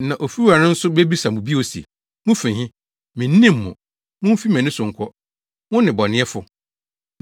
“Na ofiwura no nso bebisa mo bio se, ‘Mufi he? Minnim mo. Mumfi mʼani so nkɔ, mo nnebɔneyɛfo!’